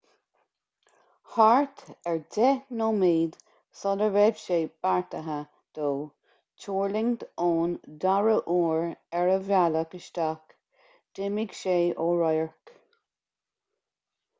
thart ar deich nóiméid sula raibh sé beartaithe dó tuirlingt ón dara uair ar a bhealach isteach d'imigh sé ó radharc